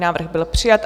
Návrh byl přijat.